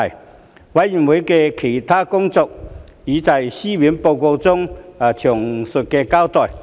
事務委員會的其他工作已在書面報告中詳細交代。